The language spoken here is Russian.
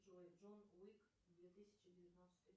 джой джон уик две тысячи девятнадцатый